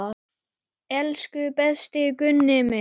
Elsku besti Gunni minn.